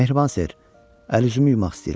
Məhriban ser, əl-üzümü yumaq istəyirəm.